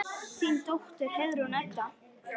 Þín dóttir, Heiðrún Edda.